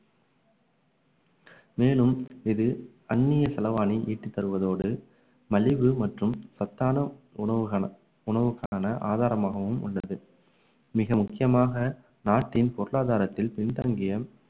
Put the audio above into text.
மேலும் இது அன்னிய செலவாணி ஈட்டி தருவதோடு மலிவு மற்றும் சத்தான உணவுக்கா~ உணவுக்கான ஆதாரமாகவும் உள்ளது மிக முக்கியமாக நாட்டின் பொருளாதாரத்தில் பின்தங்கிய